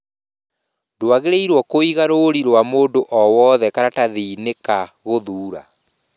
Ndwagĩrĩirũo kũiga rũũri rwa mũndũ ũngĩ o wothe karatathi-inĩ ka gũthuura.